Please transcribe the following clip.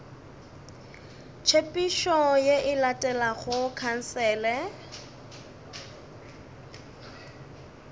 tshepedišo ye e latelago khansele